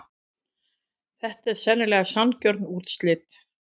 Þetta eru sennilega sanngjörn úrslit.